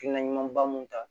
Hakilina ɲumanba mun ta